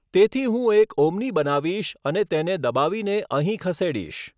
તેથી હું એક ઓમ્ની બનાવીશ અને તેને દબાવીને અહીં ખસેડીશ.